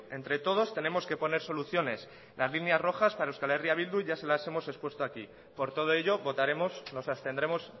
entre todos tenemos que poner soluciones las líneas rojas para euskal herria bildu ya se las hemos expuesto aquí por todo ello votaremos nos abstendremos